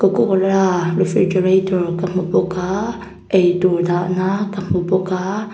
coca cola refridgerator ka hmu bawk a eitur dahna ka hmu bawk a.